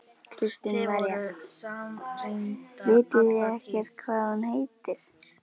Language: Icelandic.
Kristín María: Vitið þið ekkert hvað hún heitir?